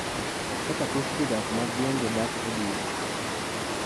Kaka thoth jodak mag gwenge dak e dhier